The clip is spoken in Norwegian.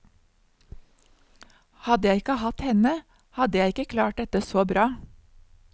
Hadde jeg ikke hatt henne, hadde jeg ikke klart dette så bra.